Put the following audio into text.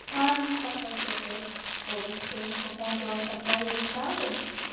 Karen Kjartansdóttir: Og veistu eitthvað hvað þú ætlar að fá í staðinn?